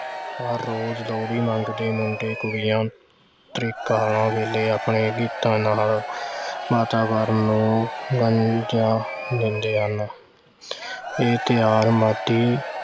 ਹਰ-ਰੋਜ਼੍ਹ ਲੋਹੜੀ ਮੰਗਦੇ ਮੰਗਦੇ ਕੁੜੀਆਂ ਧ੍ਰੇਕਾਂ ਵੇਲੇ ਆਪਣੇ ਗੀਤਾਂ ਨਾਲ ਵਾਤਾਵਰਣ ਨੂੰ ਇਹ ਤਿਓਹਾਰ